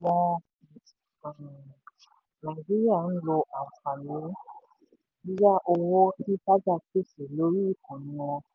ọ̀pọ̀ ọmọ um nàìjíríà ń lo àǹfààní yíyá owó tí paga pèsè lórí ikànnì wọn.